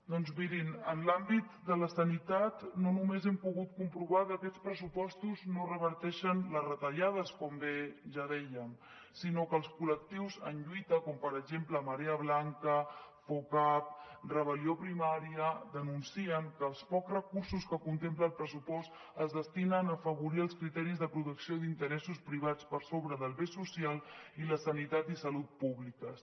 doncs mirin en l’àmbit de la sanitat no només hem pogut comprovar que aquests pressupostos no reverteixen les retallades com bé ja dèiem sinó que els col·lectius en lluita com per exemple marea blanca focap rebel·lió primària denuncien que els pocs recursos que contempla el pressupost es destinen a afavorir els criteris de protecció d’interessos privats per sobre del bé social i la sanitat i salut públiques